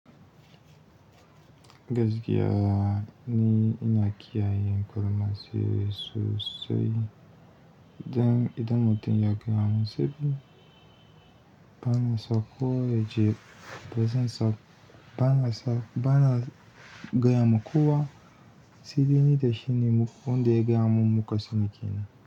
Gaskiya ni ina kiyaye ƙarama sosai. Idan mutum ya kira musulmi, bana sako, je, bana gaya ma kowa, sai dai ni da shine, wanda yagaya mun muka sani kenan.